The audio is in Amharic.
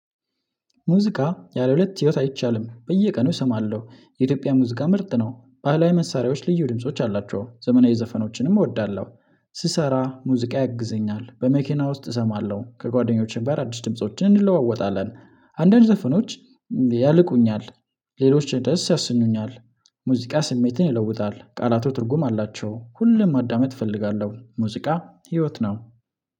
ሙዚቃ ያለሁለት ህይወት አይቻልም በየቀኑ እሰማለሁ የኢትዮጵያ ሙዚቃ ምርጥ ነው ባህላዊ መሳሪያዎች ልዩ ድምጾች አላቸው ዘመናዊ ዘፈኖችንም እወዳለሁ። ስሰራ ሙዚቃ ያግዘኛል በመኪና ውስጥ እሰማለሁ ከጓደኞቼ ጋር በአዲስ ድምጾች እንለዋወጣለን። አንዳንድ ዘፈኖች ያልቁኛል። ሌሎች ደስ ያስኑኛል። ሙዚቃ ስሜትን ይለውጣል ቃላቱ ትርጉም አላቸው። ሁሉም ማዳመጥ እፈልጋለሁ ሙዚቃ ህይወት ነው።